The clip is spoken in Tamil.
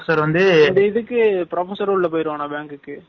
அந்த இதுக்கு professor உள்ள போயிருவான bank க்கு.